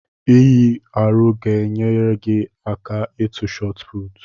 Inyi arọ ga enyere gị aka ịtụ shotput